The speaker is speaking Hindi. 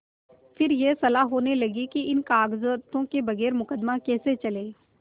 फिर यह सलाह होने लगी कि इन कागजातों के बगैर मुकदमा कैसे चले